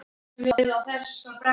Ég hef alltaf haft það læst.